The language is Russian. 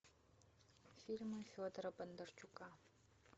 фильмы федора бондарчука